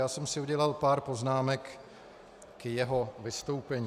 Já jsem si udělal pár poznámek k jeho vystoupení.